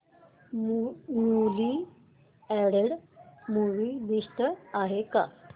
newly added movie list आहे का